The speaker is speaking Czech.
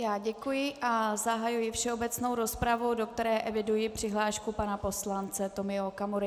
Já děkuji a zahajuji všeobecnou rozpravu, do které eviduji přihlášku pana poslance Tomio Okamury.